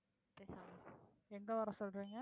எங்க வர சொல்றீங்க?